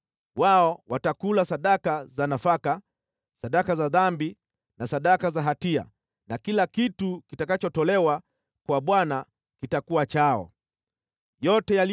Wao watakula sadaka za nafaka, sadaka za dhambi na sadaka za hatia na kila kitu kitakachotolewa kwa Bwana katika Israeli kitakuwa chao.